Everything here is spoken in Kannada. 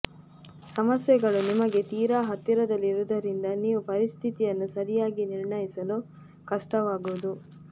ಸಮಸ್ಯೆಗಳು ನಿಮಗೆ ತೀರಾ ಹತ್ತಿರದಲ್ಲಿರುವುದರಿಂದ ನೀವು ಪರಿಸ್ಥಿತಿಯನ್ನು ಸರಿಯಾಗಿ ನಿರ್ಣಯಿಸಲು ಕಷ್ಟವಾಗುವುದು